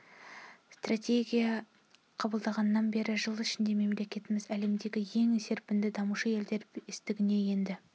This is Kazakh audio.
стратегия қабылданғаннан бері жыл ішінде мемлекетіміз әлемдегі ең серпінді дамушы елдер бестігіне енді